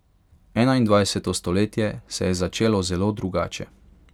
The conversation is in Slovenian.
Enaindvajseto stoletje se je začelo zelo drugače.